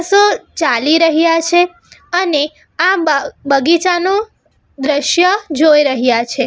સો ચાલી રહ્યા છે અને આ બા બગીચાનો દ્રશ્ય જોઈ રહ્યા છે.